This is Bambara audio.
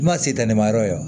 Kuma se ta ni ma yɔrɔ ye